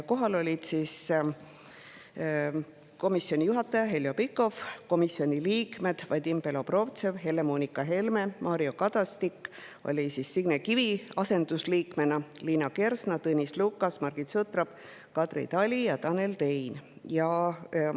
Kohal olid komisjoni juhataja Heljo Pikhof, komisjoni liikmed Vadim Belobrovtsev, Helle-Moonika Helme, Liina Kersna, Tõnis Lukas, Margit Sutrop, Kadri Tali ja Tanel Tein ning Mario Kadastik Signe Kivi asendusliikmena.